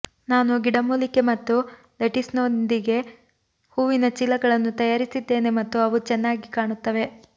ನಾನು ಗಿಡಮೂಲಿಕೆ ಮತ್ತು ಲೆಟಿಸ್ನೊಂದಿಗೆ ಹೂವಿನ ಚೀಲಗಳನ್ನು ತಯಾರಿಸಿದ್ದೇನೆ ಮತ್ತು ಅವು ಚೆನ್ನಾಗಿ ಕಾಣುತ್ತವೆ